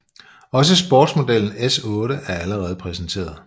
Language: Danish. Også sportsmodellen S8 er allerede præsenteret